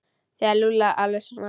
Þú gerir Lúlla alveg snar,